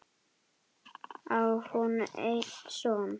Á hún einn son.